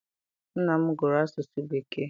Nna m gụrụ Asụsụ Bekee.